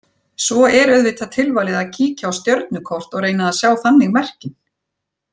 Svo er auðvitað tilvalið að kíkja á stjörnukort og reyna að sjá þannig merkin.